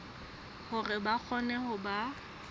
hore ba kgone ho ba